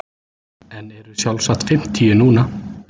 En eru sjálfsagt fimmtíu núna.